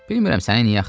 Bilmirəm səni niyə axtarır.